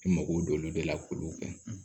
I mago don olu de la k'olu kɛ